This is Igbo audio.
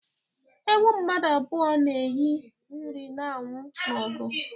Ewu mmadụ abụọ na-enye nri na-anwụ n'agụụ·